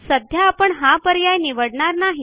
सध्या आपण हा पर्याय निवडणार नाही